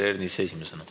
Esimesena Peeter Ernits.